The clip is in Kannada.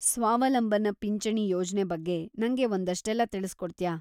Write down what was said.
ಸ್ವಾವಲಂಬನ ಪಿಂಚಣಿ ಯೋಜ್ನೆ ಬಗ್ಗೆ ನಂಗೆ ಒಂದಷ್ಟೆಲ್ಲ ತಿಳ್ಸ್ಕೊಡ್ತ್ಯಾ?